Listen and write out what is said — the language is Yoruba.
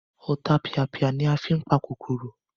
Ọ̀tapìàpìà ni a fí n pa kòkòrò